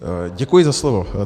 Děkuji za slovo.